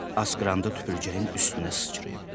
Asqıranda tüpürcəyim üstünə sıçrayıb.